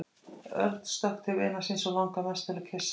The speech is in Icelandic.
Örn stökk til vinar síns og langaði mest til að kyssa hann.